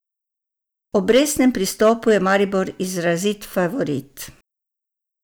Ob resnem pristopu je Maribor izrazit favorit.